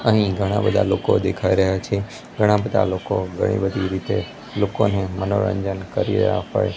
અહીં ઘણા બધા લોકો દેખાય રહ્યા છે ઘણા બધા લોકો ઘણી બધી રીતે લોકોને મનોરંજન કરી રહ્યા હોય--